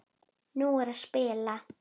Nú er að spila.